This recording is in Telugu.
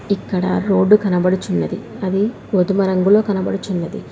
ఇక్కడ ఒక రోడ్డు కనబడుచున్నది అది గోధుమ రంగులో కనబడుచున్నది.